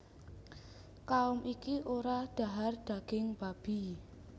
Kaum iki ora dhahar daging babi